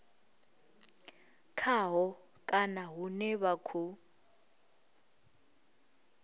khaho kana hune vha khou